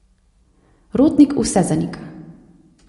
Rotnik vse zanika.